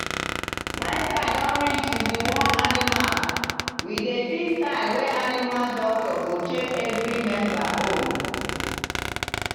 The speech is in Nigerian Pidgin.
when time don reach to deworm animal we dey fix time wey animal doctor go check every member own.